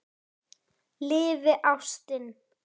Lifi ástin!